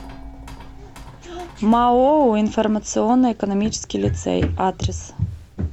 маоу информационно экономический лицей адрес